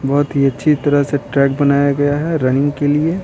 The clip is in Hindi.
बहुत ही अच्छी तरह से ट्रैक बनाया गया है रनिंग के लिए।